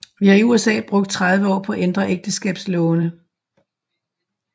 Vi har i USA brugt 30 år på at ændre ægteskabslovene